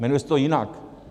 Jmenuje se to jinak.